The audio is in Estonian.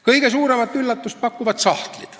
Kõige suuremat üllatust pakuvad sahtlid.